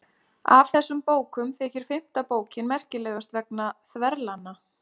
Af þessum bókum þykir fimmta bókin merkilegust vegna þverlanna.